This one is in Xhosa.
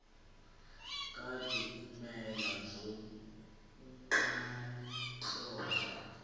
kade iimela zonqalintloko